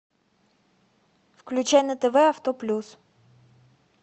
включай на тв авто плюс